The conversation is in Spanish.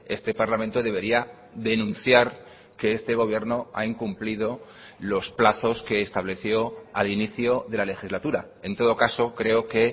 este parlamento debería denunciar que este gobierno ha incumplido los plazos que estableció al inicio de la legislatura en todo caso creo que